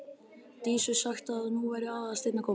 Dísu sagt að nú væri Aðalsteinn að koma.